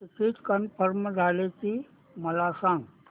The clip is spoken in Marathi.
तिकीट कन्फर्म झाले की मला सांग